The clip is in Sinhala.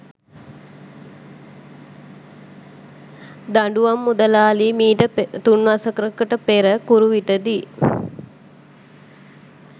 දඬුවම් මුදලාලි මීට තුන්වසරකට පෙර කුරුවිට දී